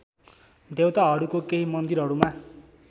देवताहरूको केही मन्दिरहरूमा